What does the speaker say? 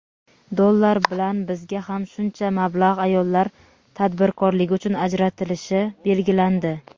dollar va bizga ham shuncha mablag‘ ayollar tadbirkorligi uchun ajratilishi belgilandi.